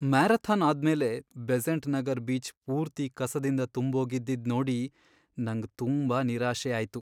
Marathon ಆದ್ಮೇಲೆ Besant Nagar beach ಪೂರ್ತಿ ಕಸದಿಂದ ತುಂಬೋಗಿದ್ದಿದ್ ನೋಡಿ ನಂಗ್ ತುಂಬಾ ನಿರಾಶೆ ಆಯ್ತು.